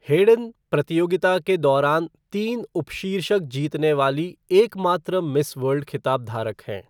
Hayden प्रतियोगिता के दौरान तीन उपशीर्षक जीतने वाली एकमात्र मिस वर्ल्ड खिताब धारक हैं।